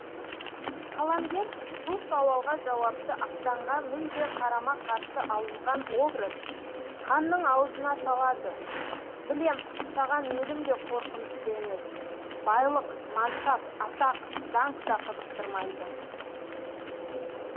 қаламгер бұл сауалға жауапты ақтанға мүлде қарама қарсы алынған образ қанның аузына салады білем саған өлім де қорқынышты емес байлық мансап атақ даңқ та қызықтырмайды